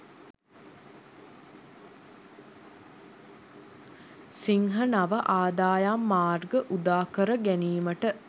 සිංහ නව ආදායම් මාර්ග උදාකර ගැනීමට